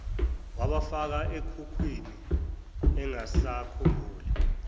wabafaka ekhukhwini engasakhumbuli